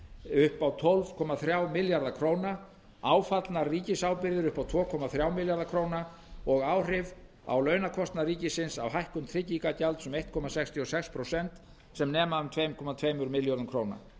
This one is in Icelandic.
upp á tólf komma þrjá milljarða króna áfallnar ríkisábyrgðir inn á tvö komma þrjá milljarða króna og áhrif á launakostnað ríkisins af hækkun trygginga gjalds um einn komma sextíu og sex prósent sem nema um tvö komma tveimur milljörðum króna